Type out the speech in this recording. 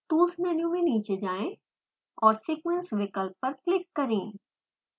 tools menu में नीचे जाएँ और sequence विकल्प पर क्लिक करें